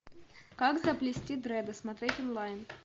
как заплести дреды смотреть онлайн